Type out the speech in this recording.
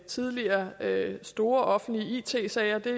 tidligere store offentlige it sager til